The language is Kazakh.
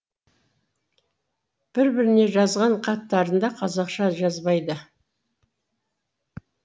бір біріне жазған хаттарында қазақша жазбайды